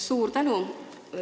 Suur tänu!